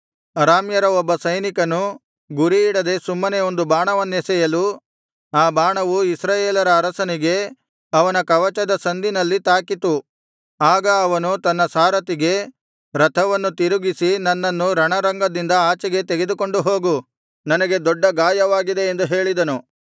ಅರಾಮ್ಯರ ಒಬ್ಬ ಸೈನಿಕನು ಗುರಿಯಿಡದೆ ಸುಮ್ಮನೆ ಒಂದು ಬಾಣವನ್ನೆಸೆಯಲು ಆ ಬಾಣವು ಇಸ್ರಾಯೇಲರ ಅರಸನಿಗೆ ಅವನ ಕವಚದ ಸಂದಿನಲ್ಲಿ ತಾಕಿತು ಆಗ ಅವನು ತನ್ನ ಸಾರಥಿಗೆ ರಥವನ್ನು ತಿರುಗಿಸಿ ನನ್ನನ್ನು ರಣರಂಗದಿಂದ ಆಚೆಗೆ ತೆಗೆದುಕೊಂಡು ಹೋಗು ನನಗೆ ದೊಡ್ಡ ಗಾಯವಾಗಿದೆ ಎಂದು ಹೇಳಿದನು